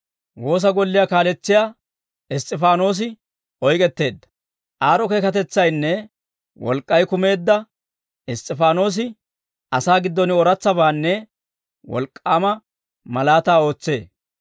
Aad'o keekatetsaynne wolk'k'ay kumeedda Iss's'ifaanoosi, asaa giddon ooratsabaanne wolk'k'aama malaataa ootsee.